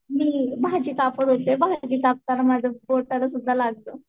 मी भाजी कापत होते भाजी कपताना माझ्या बोटाला सुध्दा लागलं.